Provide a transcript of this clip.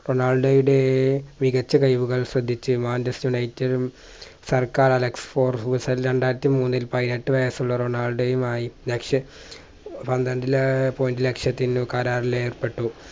റൊണാൾഡോയുടെ മികച്ച കഴിവുകൾ ശ്രദ്ധിച്ച് manchester united ഉം സർക്കാർ അലക്സ് four റുസെല്ല് രണ്ടായിരത്തി മൂന്നിൽ പതിനെട്ടു വയസ്സുള്ള റൊണാൾഡോയുമായി ലക്ഷ പന്ത്രണ്ട്ല് ഏർ Point ലക്ഷത്തിനു കരാറിലേർപ്പെട്ടു.